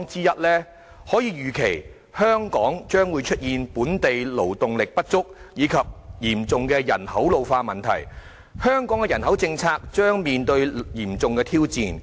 我們可以預期，香港將會出現本地勞動力不足，以及嚴重的人口老化問題，香港的人口政策將面臨重大挑戰。